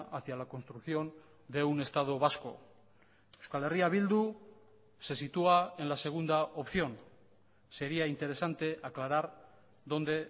hacia la construcción de un estado vasco euskal herria bildu se sitúa en la segunda opción sería interesante aclarar dónde